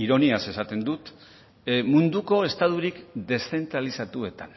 ironiaz esaten dut munduko estaturik deszentralizatuetan